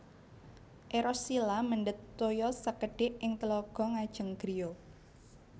Eros Shila mendhet toya sekedhik ing telaga ngajeng griya